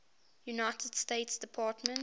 united states department